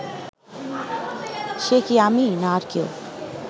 সে কি আমিই না আর কেউ